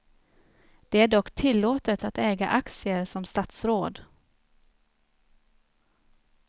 Det är dock tillåtet att äga aktier som statsråd.